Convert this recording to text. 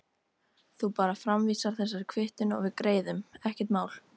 Þú bara framvísar þessari kvittun og við greiðum, ekkert mál.